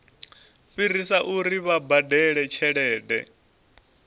fhirisa uri vha badele tshelede